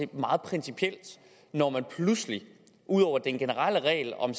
meget principielt når man pludselig ud over den generelle regel om